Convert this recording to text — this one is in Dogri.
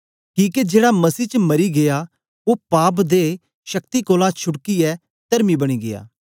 किके जेड़ा मसीह च मरी गीया ओ पाप दे शक्ति कोलां छुटकियै तरमी बनी गीया